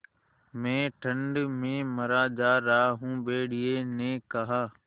मैं ठंड में मरा जा रहा हूँ भेड़िये ने कहा